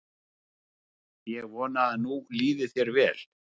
Ég vona að nú líði þér vel.